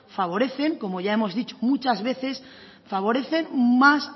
favorecen como ya hemos dicho muchas veces favorecen más